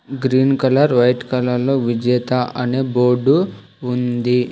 Green colour white colour లో విజేత అనే బోర్డు ఉంది.